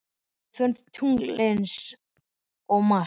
Við förum til tunglsins og Mars.